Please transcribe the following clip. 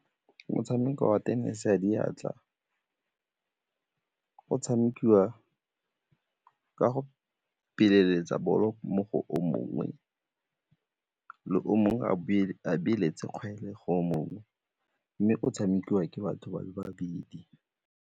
Motshameko wa tenese ya diatla o tshamekiwa ka go bolo mo go o mongwe le o mongwe a kgwele go mongwe mme o tshamekiwa ke batho ba le babedi.